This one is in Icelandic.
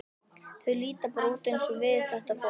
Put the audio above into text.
Þau líta bara út eins og við, þetta fólk.